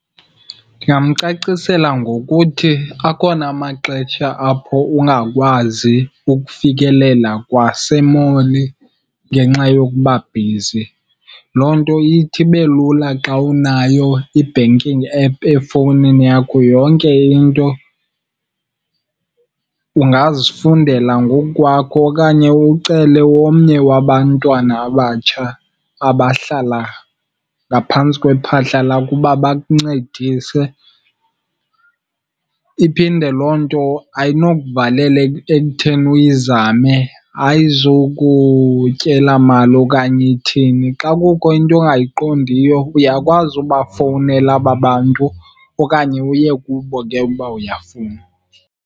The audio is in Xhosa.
Ndingamcacisela ngokuthi, akhona amaxetsha apho ungakwazi ukufikelela kwasemoli ngenxa yokubabhizi. Loo nto ithi ibe lula xa unayo i-banking app efowunini yakho. Yonke into ungazifundela ngoku kwakho okanye ucele omnye wabantwana abatsha abahlala ngaphantsi kwephahla lakho uba bakuncedise. Iphinde loo nto ayinokuvalela ekutheni uyizame, ayizukutyela mali okanye ithini. Xa kukho into ongayiqondiyo uyakwazi ubafowunela aba bantu okanye uye kubo ke uba uyafuna.